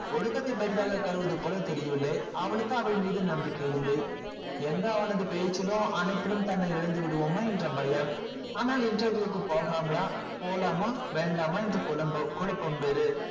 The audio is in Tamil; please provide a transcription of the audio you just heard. ஒழுக்கத்தை பெரிதாக தெரியவில்லை அவளுக்கு அவள் மீது நம்பிக்கை இல்லை எங்க அவன் பேச்சிலும் அணைப்பிலும் தன்னை இழந்து விடுவோமோ என்று பயம் அனால் interview க்கு போலாமா வேண்டாமா என்று குழுப்பம் வேறு